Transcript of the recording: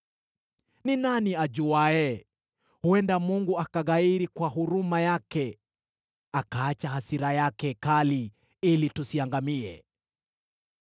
Ni nani ajuaye? Huenda Mungu akaghairi kwa huruma yake akaacha hasira yake kali ili tusiangamie.”